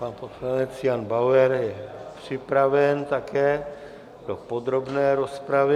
Pan poslanec Jan Bauer je připraven také do podrobné rozpravy.